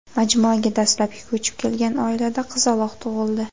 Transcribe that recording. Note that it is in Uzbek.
Majmuaga dastlabki ko‘chib kelgan oilada qizaloq tug‘ildi.